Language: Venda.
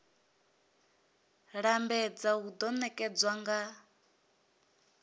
lambedza hu do nekedzwa nga